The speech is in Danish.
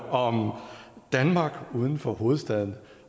om danmark uden for hovedstaden